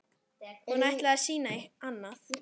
Hún ætlaði að sýna annað.